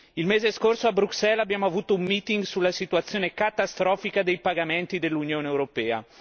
Il mese scorso a Bruxelles abbiamo avuto un meeting sulla situazione catastrofica dei pagamenti dell'Unione europea.